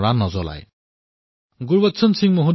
আপুনি কল্পনা কৰিব পাৰে ইয়াত কিমান ডাঙৰ সামাজিক শক্তি আছে